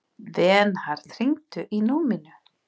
Vernharð, hringdu í Númínu.